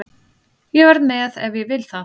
Ég verð með ef ég vil það.